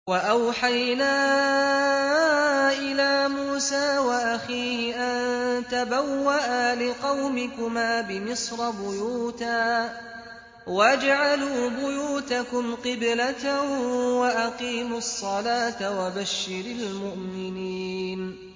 وَأَوْحَيْنَا إِلَىٰ مُوسَىٰ وَأَخِيهِ أَن تَبَوَّآ لِقَوْمِكُمَا بِمِصْرَ بُيُوتًا وَاجْعَلُوا بُيُوتَكُمْ قِبْلَةً وَأَقِيمُوا الصَّلَاةَ ۗ وَبَشِّرِ الْمُؤْمِنِينَ